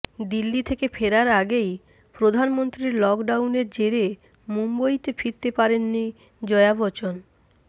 দিল্লি থেকে ফেরার আগেই প্রধানমন্ত্রীর লকডাউনের জেরে মুম্বইতে ফিরতে পারেননি জয়া বচ্চন